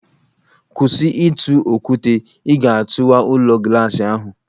Kwụsị ịtụ okwute, ị ga-atụwa ụlọ glaasị ahụ!